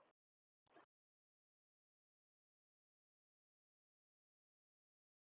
Páll Ketilsson: Hver finnst þér þá vera undirrótin að þessari umræðu?